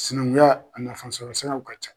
Sinankunya a nafan sɔrɔ siraw ka ca.